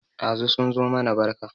Ɗazu sun zo mana barka